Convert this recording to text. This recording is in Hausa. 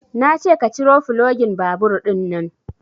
Nace ka ciro fulogin babur ɗinnan